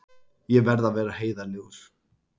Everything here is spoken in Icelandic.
Ég verð að vera heiðarlegur.